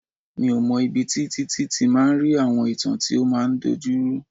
Mi ò mọ̀ ibi tí Títí ti máa ń rí àwọn ìtàn tí ó máa ń dojuru.